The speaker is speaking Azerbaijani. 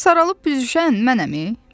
Saralıb büzüşən mənəm, mən.